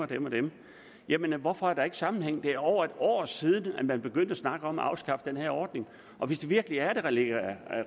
dem og dem jamen hvorfor er der ikke nogen sammenhæng det er over et år siden man begyndte at snakke om at afskaffe den her ordning og hvis det virkelig er at det ligger